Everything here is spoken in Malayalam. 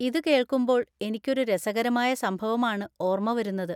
ഇതുകേൾക്കുമ്പോൾ എനിക്കൊരു രസകരമായ സംഭവമാണ് ഓർമ വരുന്നത്.